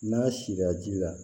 N'a si la ji la